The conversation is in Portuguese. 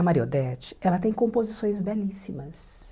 A Maria Odete, ela tem composições belíssimas.